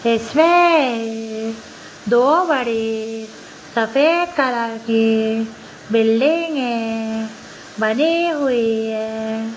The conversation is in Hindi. इसमें दो बड़े सफेद कलर के बिल्डिंगें बने हुए हैं।